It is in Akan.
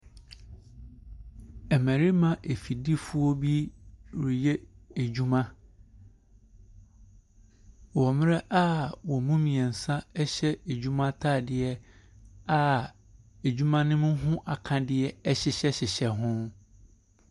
Mmarima afidifoɔ bi reyɛ adwuma wɔ mmerɛ wɔn mu mmiɛnsa ɛhyɛ ɛdwuma ntaadeɛ a ɛdwuma ne ho akadeɛ ɛhyehyɛ hyehyɛ ho.